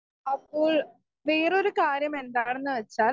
speaker 1 അപ്പോൾ വേറൊരു കാര്യം എന്താണെന്ന് വെച്ചാൽ